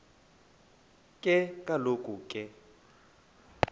ke kaloku ke